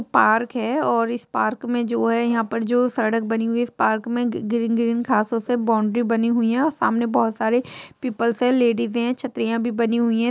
Park है और इस पार्क में जो है यहाँ पर जो सड़क बनी हुई है इस पार्क में ग्रीन ग्रीन घासों से बॉउंड्री बनी हुई है और सामने बहुत सारे पीपल्स है लेडी भी है छतरियां भी बनी हुई है।